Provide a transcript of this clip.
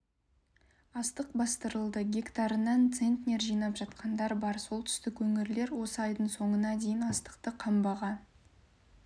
астық бастырылды гектарынан центнер жинап жатқандар бар солтүстік өңірлер осы айдың соңына дейін астықты қамбаға